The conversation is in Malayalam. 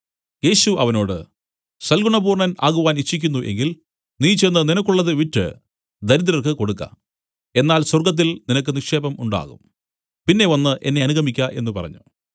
യേശു അവനോട് സൽഗുണപൂർണ്ണൻ ആകുവാൻ ഇച്ഛിക്കുന്നു എങ്കിൽ നീ ചെന്ന് നിനക്കുള്ളത് വിറ്റ് ദരിദ്രർക്ക് കൊടുക്ക എന്നാൽ സ്വർഗ്ഗത്തിൽ നിനക്ക് നിക്ഷേപം ഉണ്ടാകും പിന്നെ വന്നു എന്നെ അനുഗമിക്ക എന്നു പറഞ്ഞു